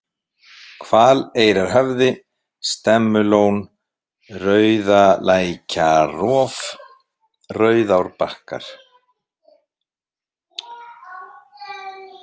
Hvaleyrarhöfði, Stemmulón, Rauðalækjarrof, Rauðárbakkar